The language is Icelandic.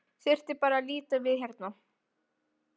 Þurfti bara að líta við hérna.